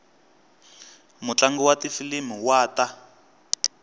mutlangi wa tifilimi wa ta